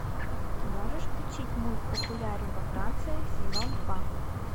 ты можешь включить мульт популярен во франции сезон два